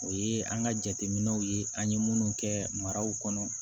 O ye an ka jateminɛw ye an ye minnu kɛ maraw kɔnɔ